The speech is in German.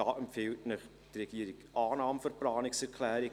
Die Regierung empfiehlt Ihnen die Annahme der Planungserklärung.